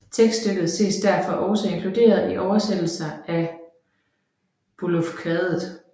Tekststykket ses derfor også inkluderet i oversættelser af Beovulfkvadet